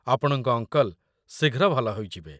ଆପଣଙ୍କ ଅଙ୍କଲ୍‌ ଶୀଘ୍ର ଭଲ ହୋଇଯିବେ।